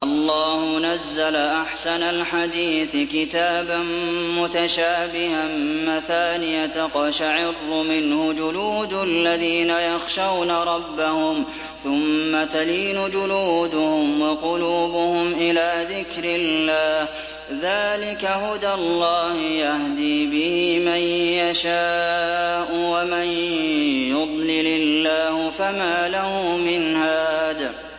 اللَّهُ نَزَّلَ أَحْسَنَ الْحَدِيثِ كِتَابًا مُّتَشَابِهًا مَّثَانِيَ تَقْشَعِرُّ مِنْهُ جُلُودُ الَّذِينَ يَخْشَوْنَ رَبَّهُمْ ثُمَّ تَلِينُ جُلُودُهُمْ وَقُلُوبُهُمْ إِلَىٰ ذِكْرِ اللَّهِ ۚ ذَٰلِكَ هُدَى اللَّهِ يَهْدِي بِهِ مَن يَشَاءُ ۚ وَمَن يُضْلِلِ اللَّهُ فَمَا لَهُ مِنْ هَادٍ